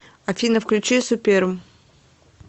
афина включи суперм